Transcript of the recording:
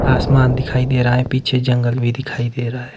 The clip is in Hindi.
आसमान दिखाई दे रहा है पीछे जंगल भी दिखाई दे रहा है।